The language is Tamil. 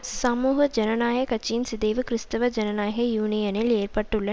சமூக ஜனநாயக கட்சியின் சிதைவு கிறிஸ்தவ ஜனநாயக யூனியனில் ஏற்பட்டுள்ள